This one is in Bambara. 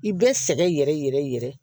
I bɛ sɛgɛn yɛrɛ yɛrɛ yɛrɛ